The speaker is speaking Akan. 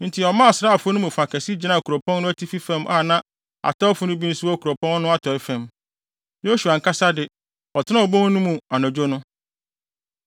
Enti ɔmaa asraafo no mu fa kɛse gyinaa kuropɔn no atifi fam a na atɛwfo no bi nso wɔ kuropɔn no atɔe fam. Yosua ankasa de, ɔtenaa obon no mu anadwo no.